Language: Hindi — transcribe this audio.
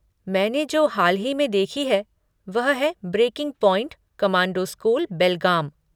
मैंने जो हाल ही में देखी है, वह है 'ब्रेकिंग पॉइंट कोमांडो स्कूल, बेलगाम'।